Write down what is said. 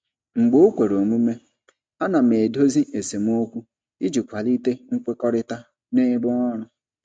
Mgbe o kwere omume, ana m edozi esemokwu iji kwalite nkwekọrịta n'ebe ọrụ.